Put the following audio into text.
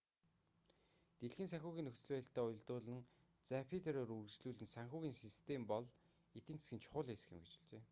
дэлхийн санхүүгийн нөхцөл байдалтай уялдуулан запатеро үргэлжлүүлэн санхүүгийн систем бол эдийн засгийн чухал хэсэг юм гэж хэлжээ